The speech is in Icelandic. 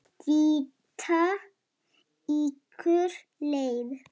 Stytta ykkur leið!